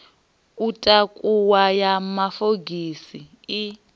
u takuwa ya mafogisi i